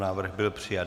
Návrh byl přijat.